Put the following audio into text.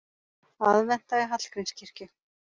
Aðventa í Hallgrímskirkju